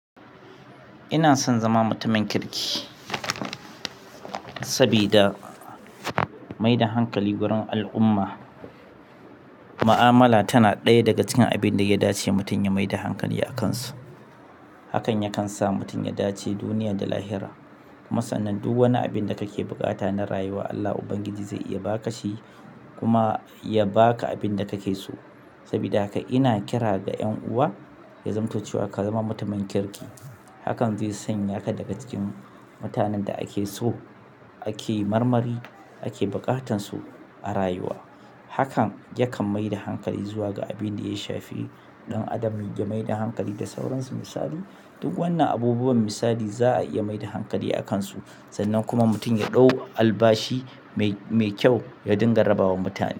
Ina son zama mutumin kirki sabida mai da hankali wurin al'umma. Mu'amala tana ɗaya daga cikin abin da ya dace mutum ya mai da hankali a kan su. Hakan yakan sa mutum ya dace duniya da lahira. Kuma sannan duk wani abu da kake buƙata na rayuwa Allah ubangiji zai iya baka shi, kuma ya baka abinda ka ke so. Saboda haka ina kira ga ʼyanuwa ya zamto cewa ka zama mutumin kirki. Hakan zai sanya ka daga cikin mutanen da ake so, ake marmari, ake buƙatarsu a rayuwa. Hakan yakan mai da hankali zuwa ga abin da ya shafi ɗan adam ya mai da hankali da sauransu misali. Duk wannan abubuwan misali za a iya mai da hankali a kan su, sannan kuma mutum ya ɗau albashi mai, mai kyau ya dinga raba wa mutane.